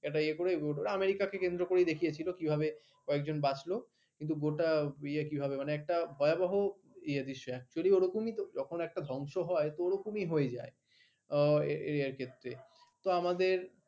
একটা ইয়ে করে আমেরিকা কে কেন্দ্র করে দেখিয়েছিল কিভাবে কয়েকজন বাঁচল কিন্তু গোটা ইয়ে কিভাবে মানে একটা ভয়াবহ ইয়ে দৃশ্য actually ওরকম যখন একটা ধ্বংস হয় ওরকমই হয়ে যায় এ আর কি তো আমাদের